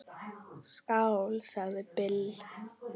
Skál, sagði Bill.